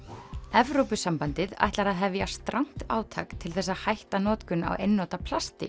Evrópusambandið ætlar að hefja strangt átak til þess að hætta notkun á einnota plasti